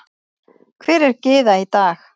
Hver er Gyða í dag?